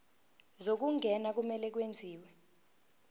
zokungena kumele kwenziwe